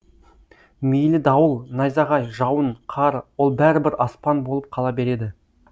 мейлі дауыл найзағай жауын қар ол бәрібір аспан болып қала береді